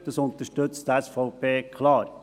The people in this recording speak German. Das unterstützt die SVP klar.